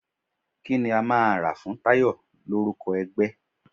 Kí ni a máa rà fún Tayọ l'órúko ẹgbẹ́?